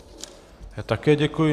Já také děkuji.